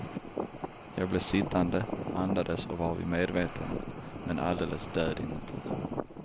Jag blev sittande, andades och var vid medvetande men alldeles död inuti.